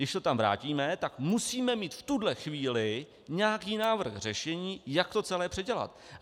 Když to tam vrátíme, tak musíme mít v tuhle chvíli nějaký návrh řešení, jak to celé předělat.